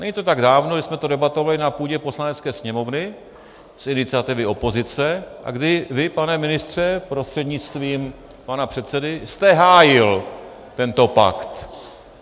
Není to tak dávno, kdy jsme to debatovali na půdě Poslanecké sněmovny z iniciativy opozice a kdy vy, pane ministře prostřednictvím pana předsedy, jste hájil tento pakt.